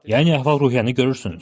Yəni əhval-ruhiyyəni görürsünüz.